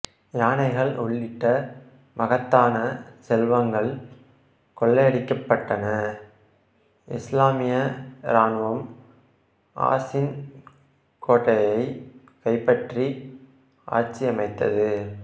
யானைகள் உள்ளிட்ட மகத்தான செல்வங்கள் கொள்ளையடிக்கப்பட்டன இசுலாமிய இராணுவம் ஆசின் கோட்டையை கைப்பற்றி ஆட்சியமைத்தது